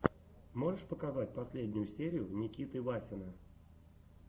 можешь показать последнюю серию никиты васина